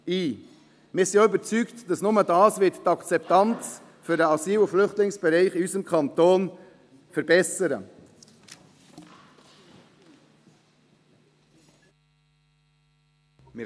Wir sind auch überzeugt, dass nur das die Akzeptanz des Asyl- und Flüchtlingsbereichs in unserem Kanton verbessern wird.